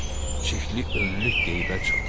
çexli önlük geyə çıxdı.